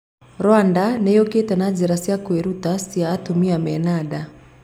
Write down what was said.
Rwanda nĩ yũkĩte na njĩra cia kwĩruta cia atumia mena nda